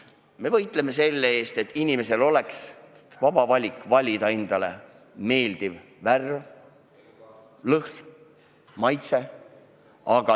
Me võitleme selle eest, et inimesel oleks vaba valik valida endale meeldiv värv, lõhn ja maitse.